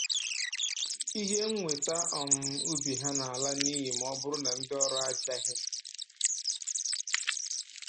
Ihe mnweta um ubi ha na-ala n'iyi ma ọ bụrụ na ndị ọrụ abịaghị